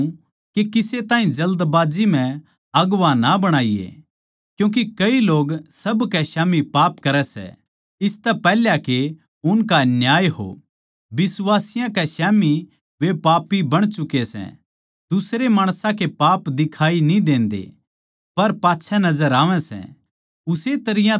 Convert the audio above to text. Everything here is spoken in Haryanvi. मै कहूँ सूं के किसे ताहीं जल्दबाजी म्ह अगुवां ना बणाईये क्यूँके कई लोग सब कै स्याम्ही पाप करै सै इसतै पैहले के उसका न्याय हो बिश्वासियाँ कै स्याम्ही वे पापी बण चुके सै दुसरे माणसां के पाप दिखाई कोनी देते पर पाच्छै नजर आवै सै